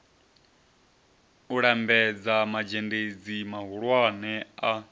u lambedza mazhendedzi mahulwane a